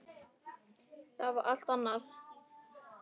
Það var allt annað.